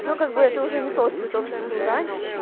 ну как бы это уже не тот цветок что был раньше